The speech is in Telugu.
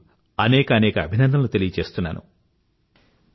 నేను మీకు అనేక అభినందనలు తెలుపుతున్నాను